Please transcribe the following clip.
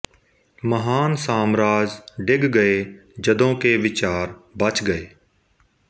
ਮਹਾਨ ਸਾਮਰਾਜ ਡਿੱਗ ਗਏ ਜਦੋਂ ਕਿ ਵਿਚਾਰ ਬਚ ਗਏ